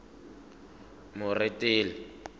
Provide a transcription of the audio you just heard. moretele